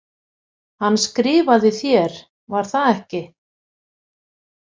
Hann skrifaði þér, var það ekki?